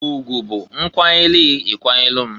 Ugwụ bụ nkwanyelugh i ikwanyelu m.